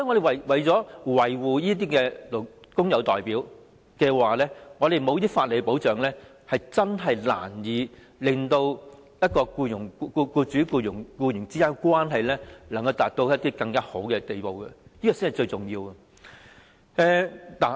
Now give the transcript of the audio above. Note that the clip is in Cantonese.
為了維護這些工友代表，必須提供一些法理保障，否則，將很難令僱主與僱員之間的關係達到更好的地步，這才是最重要的。